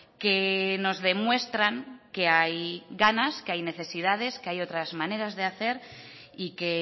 que nos demuestran que hay ganas que hay necesidades que hay otras maneras de hacer y que